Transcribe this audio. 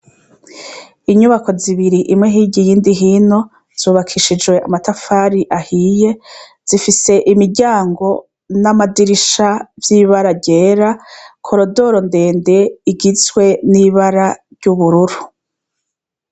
Inyubako zibiri, imwe hirya iyindi hino zubakishijwe amatafari ahiye zifise imiryago n'amadirisha vy'ibara ryera, korodoro ndende igizwe n'ibara ry'ubururu.